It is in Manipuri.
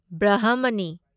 ꯕ꯭ꯔꯍꯃꯅꯤ